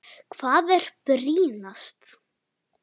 Hvað er brýnast?